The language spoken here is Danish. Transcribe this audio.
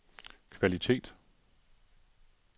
kvalitet